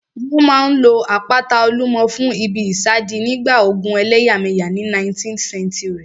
Wọ́n máa n lo àpáta Olúmọ fún ìbí ìsádi nígbà ogun ẹlẹ́yàmẹ̀yà ní 19th century